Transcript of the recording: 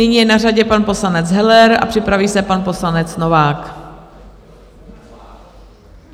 Nyní je na řadě pan poslanec Heller a připraví se pan poslanec Novák.